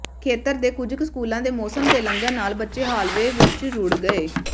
ਖੇਤਰ ਦੇ ਕੁਝ ਸਕੂਲਾਂ ਦੇ ਮੌਸਮ ਦੇ ਲੰਘਣ ਨਾਲ ਬੱਚੇ ਹਾਲਵੇਅ ਵਿੱਚ ਰੁੜ੍ਹ ਗਏ